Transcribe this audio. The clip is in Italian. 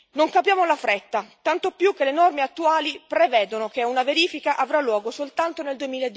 Non capiamo la fretta, tanto più che le norme attuali prevedono che una verifica avrà luogo soltanto nel